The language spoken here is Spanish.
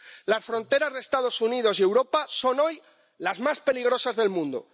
Las fronteras de los Estados Unidos y de Europa son hoy las más peligrosas del mundo.